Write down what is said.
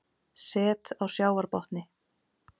Set á sjávarbotni